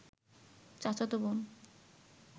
চাচতো বোন